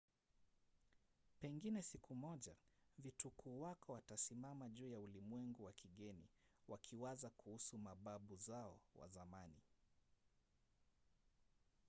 pengine siku moja vitukuu wako watasimama juu ya ulimwengu wa kigeni wakiwaza kuhusu mababu zao wa zamani?